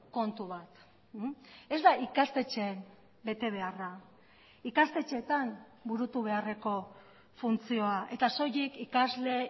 kontu bat ez da ikastetxeen bete beharra ikastetxeetan burutu beharreko funtzioa eta soilik ikasle